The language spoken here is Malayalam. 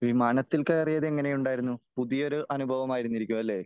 വിമാനത്തിൽ കയറിയത് എങ്ങനെ ഉണ്ടായിരുന്നു ? പുതിയ ഒരു അനുഭവമായിരിക്കും അല്ലേ ?